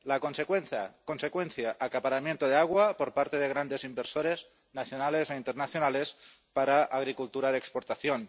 La consecuencia acaparamiento de agua por parte de grandes inversores nacionales e internacionales para agricultura de exportación.